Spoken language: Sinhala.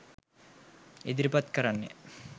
ඉදිරිපත් කරන්නෙ.